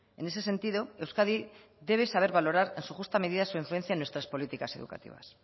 en ese sentido euskadi debe saber valorar en su justa medida su influencia en nuestras políticas educativas